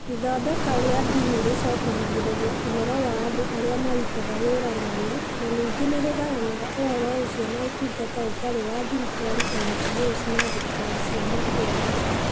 Ithondeka rĩa ndini rĩũcokanagĩrĩria ũhoro wa andũ arĩa marutaga wĩra narĩo, na ningĩ nĩ rĩgayanaga ũhoro ũcio na Ũtungata Ũtarĩ wa Thirikari (NGOs) na thirikari cia matũũra.